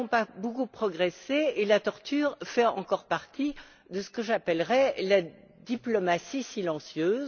Nous n'avons pas beaucoup progressé, car la torture fait encore partie de ce que j'appellerai la diplomatie silencieuse.